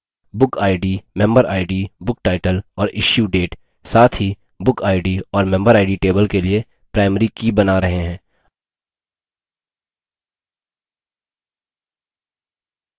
bookid memberid booktitle और issuedate साथ ही bookid और memberid table के लिए primary की बना रहे हैं